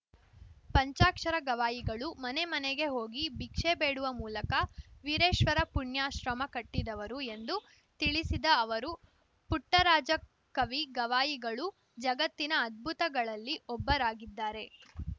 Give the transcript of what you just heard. ಪಂಚಾಕ್ಷರ ಗವಾಯಿಗಳು ಮನೆ ಮನೆಗೆ ಹೋಗಿ ಭಿಕ್ಷೆ ಬೇಡುವ ಮೂಲಕ ವೀರೇಶ್ವರ ಪುಣ್ಯಾಶ್ರಮ ಕಟ್ಟಿದವರು ಎಂದು ತಿಳಿಸಿದ ಅವರು ಪುಟ್ಟರಾಜ ಕವಿ ಗವಾಯಿಗಳು ಜಗತ್ತಿನ ಅದ್ಭುತಗಳಲ್ಲಿ ಒಬ್ಬರಾಗಿದ್ದಾರೆ